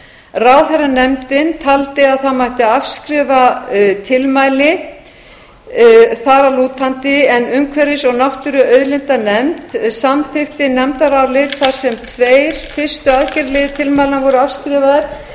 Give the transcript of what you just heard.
ráðherranefndin taldi að það mætti afskrifa tilmæli þar að lútandi en umhverfis og náttúruauðlindanefnd samþykkti nefndarálit þar sem tveir fyrstu aðgerðaliðir tilmælanna voru afskrifaðir